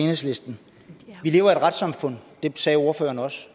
enhedslisten at vi lever i et retssamfund det sagde ordføreren også